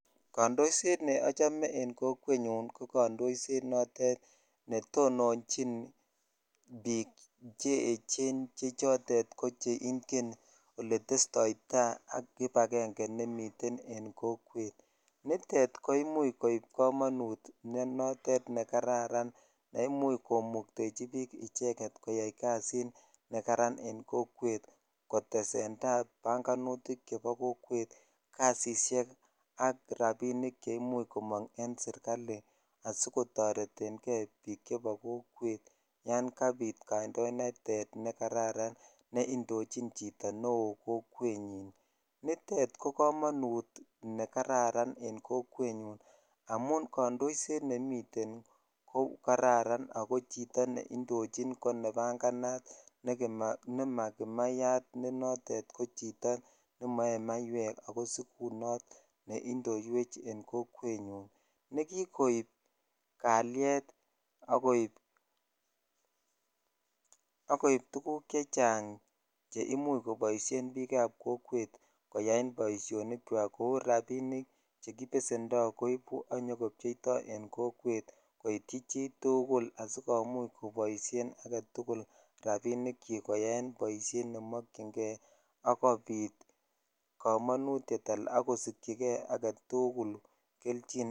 Kaindoishet neochome en kokwet nyun ko kaindoishet netononiichn bik cheechen vhe chotet ko che ingen oletestoi tai ak kibagenge en kokwet nitet ko imuch koib komonut nekararan ne imuch komuktechi bik icheget koyai kasit nekaran en kokwet kotesen tai banganutik chebo kokwet rabinik kasishek che imuch komong en sirkali asikotoreten kei bik chebo kokwet yan kabit kaindoinatet ne kararan ne indichin chito neo kokwet nyun nitet ko komonut nekararan en kokwet nyun amun kaindoishet nekraran ako neindoochin ko nebanganat ne maa kimayar ne noton komoyee maiwek ak sikunot ne indowech en kokwet nyun ne kikoib walet ak tukuk chechang che inuch koboishen bik ab kokwet koyaen boishonik chwak kou rabinik che kibesendo koibu ak konyo kobcheidoi en kokwet koitchi chitugul asiikomuch koitchi aketukul rabishek chik koyaen boishet nemokyin kei akobit komonutet ako sikyikei tukul kelchin.